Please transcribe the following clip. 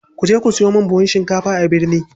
Kuje ku siyo min buhun shinkafa a birni.